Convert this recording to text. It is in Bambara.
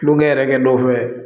Tulonkɛ yɛrɛ kɛ dɔ fɛ